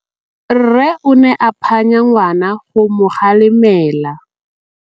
Rre o ne a phanya ngwana go mo galemela.